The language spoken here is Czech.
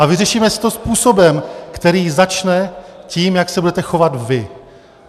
A vyřešíme si to způsobem, který začne tím, jak se budete chovat vy.